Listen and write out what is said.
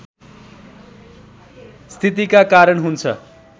स्थितिका कारण हुन्छ